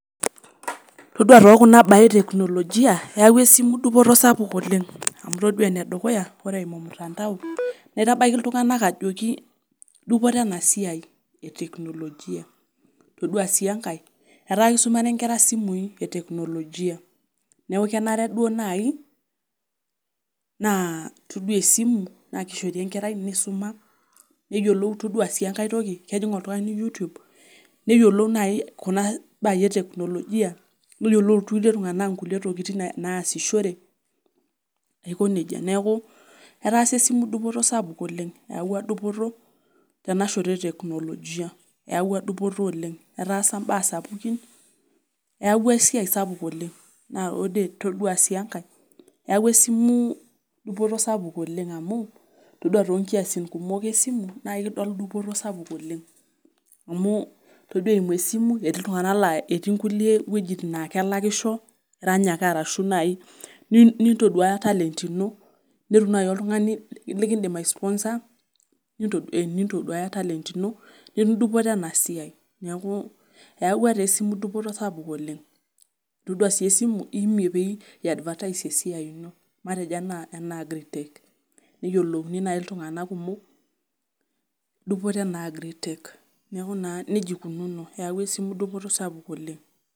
Todua tookuna baa eteknologia eyawua esimu dupoto sapuk oleng',amu itodua enedukuya, ore eimu mtandao naitabaiki iltunganak ajoki duputo ena siai eteknologia, todua sii enkae etaa kisumare enkira esimui eteknologia, neeku kenare duo naai naa todua esimu..naa kishoru enkerai neisuma, todua sii enkae toki kejing oltungani YouTube neyiolou naayi kuna baai eteknologia, neyiolou kulie tunganak inkulie tokitin naasishore aiko nejia. Neeku etaasa esimu dupoto sapuk oleng', eyawua dupoto tenashoto eteknologia. Eawua dupoto oleng' etaasa imbaa sapukin, eeuwua esiai sapuk oleng' naa ore todua sii enkae, eawua esimu dupoto sapuk oleng' amu, todua toonkiasin kumok esimu nidol dupoto sapuk oleng', amu todua eimu esimu etii kulie tunganak laa etii nkulie wojitin naa kelakisho, erany arashu naai nintoduaya talent ino nitum naai oltungani likidim ai sponsor nintoduaya talent ino nitum dupoto ena siai. Neeku eyawua esimu dupoto sapuk oleng'. Todua sii esimu eeimie peyie iyas advertise esia ino. Matejo enaa Agri tech neyiolouni naai iltunganak kumok dupoto ena Agri tech. Neeku nejia eikununo, eyawua esimu dupoto sapuk oleng'.